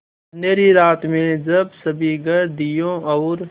अँधेरी रात में जब सभी घर दियों और